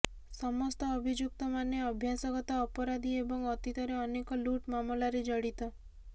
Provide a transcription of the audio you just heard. ସମସ୍ତ ଅଭିଯୁକ୍ତ ମାନେ ଅଭ୍ୟାସଗତ ଅପରାଧୀ ଏବଂ ଅତୀତରେ ଅନେକ ଲୁଟ୍ ମାମଲାରେ ଜଡିତ